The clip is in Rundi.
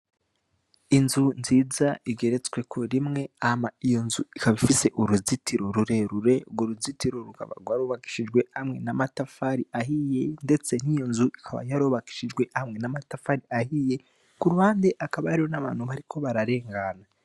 Inzu nziza igeretsweko rimwe hama iyonzu ikaba ifise uruzitiro rurerure. Urwo ruzitiro rwarubakishijwe hamwe n'amatafari ahiye ndetse niyonzu ikaba yarubakishijwe hamwe n'amatafari ahiye. Kuruhande hakaba hariho n'abantu bariko bararengana.